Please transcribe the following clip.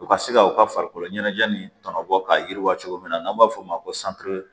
U ka se ka u ka farikolo ɲɛnajɛ nin tɔnɔ bɔ k'a yiriwa cogo min na n'an b'a fɔ o ma ko